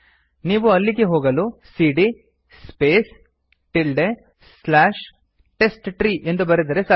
ನೀವು ಅಲ್ಲಿಗೆ ಹೋಗಲು ಸಿಡಿಯ ಸ್ಪೇಸ್ ಟಿಲ್ಡೆ ಸ್ಲಾಶ್ ಟೆಸ್ಟ್ಟ್ರೀ ಎಂದು ಬರೆದರೆ ಸಾಕು